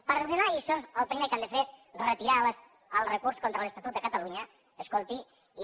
per donar lliçons el primer que han de fer és retirar el recurs contra l’estatut de catalunya escolti i